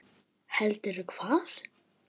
Ég sagði engum frá Viðari.